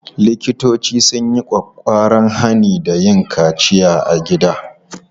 Likitoci sun yi ƙwaƙƙwaran hani da yin kaciya a gida.